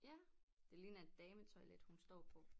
Ja det ligner et dametoilet hun står på